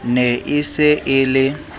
ne e se e le